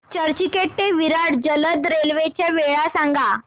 चर्चगेट ते विरार जलद रेल्वे च्या वेळा सांगा